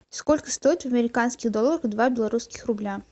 сколько стоит в американских долларах два белорусских рубля